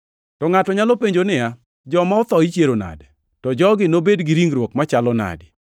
To ngʼato nyalo penjo niya, “Joma otho ichiero nadi? To jogi nobed gi ringruok machalo nade?”